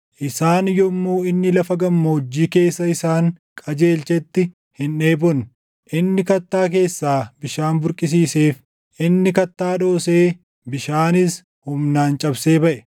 Isaan yommuu inni lafa gammoojjii keessa isaan qajeelchetti // hin dheebonne; inni kattaa keessaa bishaan burqisiiseef; inni kattaa dhoosee, bishaanis humnaan cabsee baʼe.